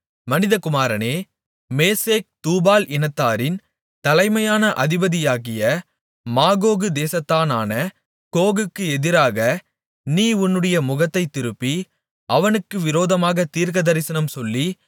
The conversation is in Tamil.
மனிதகுமாரனே மேசேக் தூபால் இனத்தாரின் தலைமையான அதிபதியாகிய மாகோகு தேசத்தானான கோகுக்கு எதிராக நீ உன்னுடைய முகத்தைத் திருப்பி அவனுக்கு விரோதமாகத் தீர்க்கதரிசனம் சொல்லி